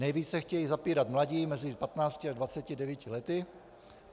Nejvíce chtějí zapírat mladí mezi 15 a 29 lety.